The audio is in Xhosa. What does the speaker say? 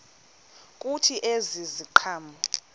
kuthi ezi ziqhamo